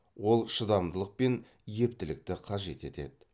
ол шыдамдылық пен ептілікті қажет етеді